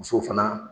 Musow fana